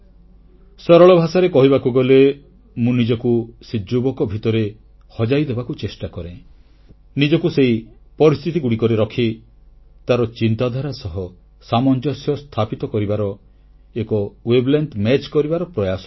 ସରଳ ଭାଷାରେ କହିବାକୁ ଗଲେ ମୁଁ ନିଜକୁ ସେ ଯୁବକ ଭିତରେ ହଜାଇଦେବାକୁ ଚେଷ୍ଟା କରେ ନିଜକୁ ସେହି ପରିସ୍ଥିତିଗୁଡ଼ିକରେ ରଖି ତାର ଚିନ୍ତାଧାରା ସହ ସାମଞ୍ଜସ୍ୟ ସ୍ଥାପିତ କରିବାର ଏକ ମାନସିକ ଅନ୍ତରଙ୍ଗତା ପ୍ରତିଷ୍ଠା କରିବାର ପ୍ରୟାସ କରେ